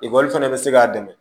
Ekɔli fana bɛ se k'a dɛmɛ